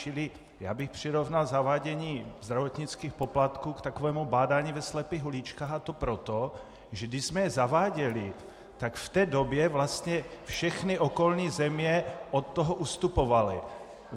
Čili já bych přirovnal zavádění zdravotnických poplatků k takovému bádání ve slepých uličkách, a to proto, že když jsme je zaváděli, tak v té době vlastně všechny okolní země od toho ustupovaly.